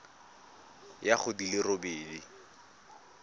ya go di le robedi